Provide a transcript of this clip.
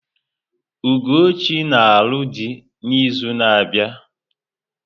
Ugochi na-alụ dị n'izu na-abịa.